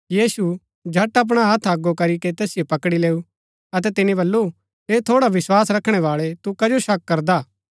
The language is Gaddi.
यीशु झट अपणा हत्थ अगो करी कै तैसिओ पकड़ी लैऊ अतै तिनी बल्लू हे थोड़ा विस्वास रखणै बाळै तू कजो शक करदा हा